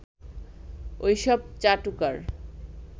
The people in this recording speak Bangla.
ওই সব চাটুকার